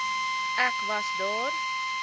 ek was daar